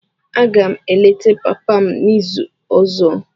Aga m eleta papa m n'izu ọzọ.